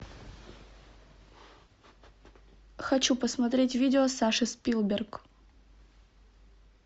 хочу посмотреть видео саши спилберг